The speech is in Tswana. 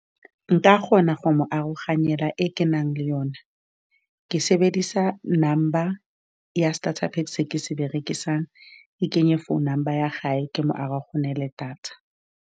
Nka kgona go mo aroganyetsa e ke nang le yone, ke sebedisa number ya starter pack-e, se ke se berekisang. Ke kenye phone number ya hae, ke mo aroganyetse data.